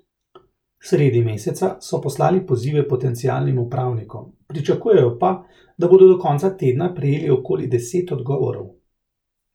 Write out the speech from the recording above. Sredi meseca so poslali pozive potencialnim upravnikom, pričakujejo pa, da bodo do konca tedna prejeli okoli deset odgovorov.